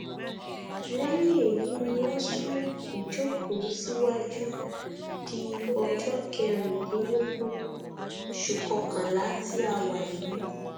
lẹyìn èyí ni wọn sún ìjókòó síwájú di ọjọ kẹrìndínlógún oṣù kọkànlá tí a wà yìí